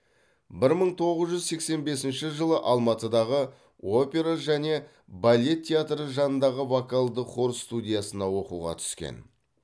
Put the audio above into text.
бір мың тоғыз жүз сексен бесінші жылы алматыдағы опера және балет театры жанындағы вокалдық хор студиясына оқуға түскен